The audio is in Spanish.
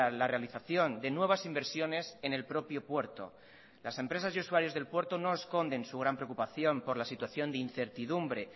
la realización de nuevas inversiones en el propio puerto las empresas y usuarios del puerto no esconden su gran preocupación por la situación de incertidumbre